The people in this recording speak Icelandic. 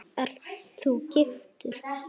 Ert þú giftur?